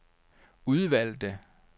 udvalgte